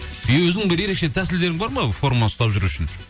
өзің бір ерекше тәсілдерің бар ма форма ұстап жүру үшін